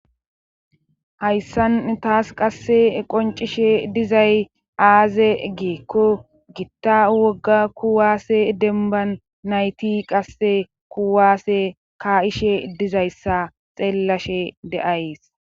hayssan taas qasse qoncishe dizay aaze geekko gitta wogga kuwaase demban nayti qasse kuwaasse ka7ishe dizayssa xeellashe de7ays